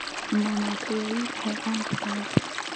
Mama kayai maxay caan ku tahay?